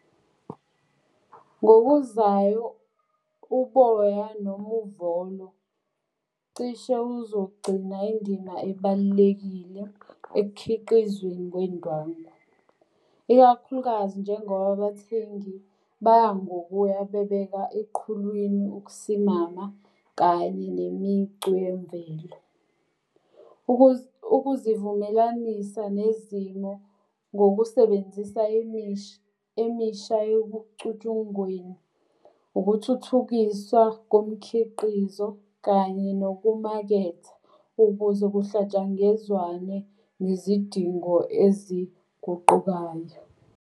Ngokuzayo uboya noma uvolo cishe uzogcina indima ebalulekile ekukhiqizweni kwendwangu. Ikakhulukazi njengoba abathengi baya ngokuya bebeka eqhulwini ukusimama kanye nemicu yemvelo. Ukuzivumelanisa nezimo ngokusebenzisa emisha emisha yobucutshunguleni, ukuthuthukiswa komkhiqizo, kanye nokumaketha. Ukuze kuhlatshangezwane nezidingo eziguqukayo.